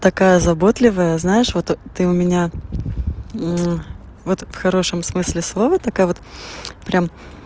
такая заботливая знаешь вот ты у меня вот в хорошем смысле слова такая вот прям